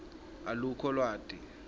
alukho lwati